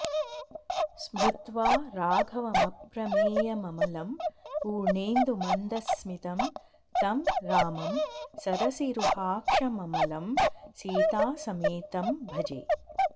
स्मृत्वा राघवमप्रमेयममलं पुर्णेन्दुमन्दस्मितं तं रामं सरसीरुहाक्षममलं सीतासमेतं भजे